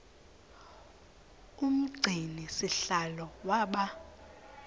umgcini sihlalo waba